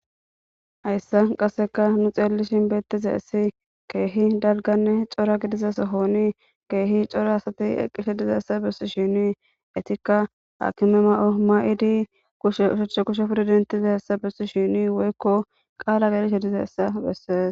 Haysan qaseka nu xelishn betizays keeh aahonne dalga gidida keeh keeh cora asat eqishe dizaysa besishn etika hakime masatiza mayo mayid kushe oshicha kushe dentidaysa besishn woykko qala gelizaysa beses.